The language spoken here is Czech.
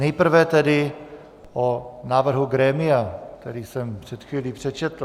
Nejprve tedy o návrhu grémia, který jsem před chvílí přečetl.